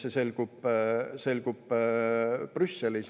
See selgub Brüsselis.